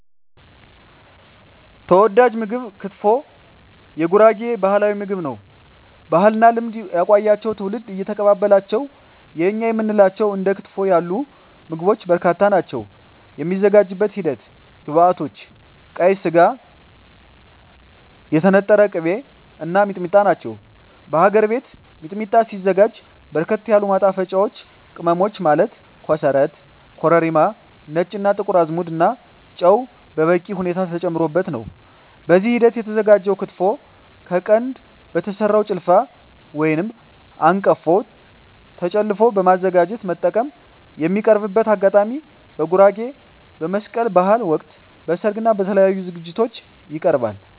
ተወዳጅ ምግብ ክትፎ የጉራጌ ባህላዊ ምግብ ነው። ባህልና ልማድ ያቆያቸው ትውልድ እየተቀባበላቸው የእኛ የምንላቸው እንደ ክትፎ ያሉ ምግቦች በርካታ ናቸው። የሚዘጋጅበት ሂደት ግብዐቶች ቀይ ስጋ, የተነጠረ ቅቤ , እና ሚጥሚጣ ናቸው። በሀገር ቤት ሚጥሚጣ ሲዘጋጅ በርከት ያሉ ማጣፈጫወች ቅመሞች ማለት ኮሰረት , ኮረሪማ , ነጭ እና ጥቁር አዝሙድ እና ጨው በበቂ ሁኔታ ተጨምሮበት ነው። በዚህ ሂደት የተዘጋጀው ክትፎ ከቀንድ በተሰራው ጭልፋ/አንቀፎ ጨለፎ በማዘጋጀት መጠቀም። የሚቀርብበት አጋጣሚ በጉራጌ በመስቀል በሀል ወቅት, በሰርግ እና በተለያዪ ዝግጅቶች ይቀርባል።።